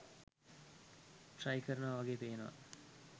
Try කරනවා වගේ පේනවා.